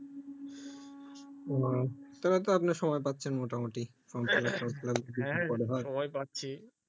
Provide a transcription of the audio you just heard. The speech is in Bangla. ও তবে তো আপনই সময় পাচ্ছেন মোটামুটি form fill up dorm fill up যদি পরে হয় হ্যাঁ সময় পাচ্ছি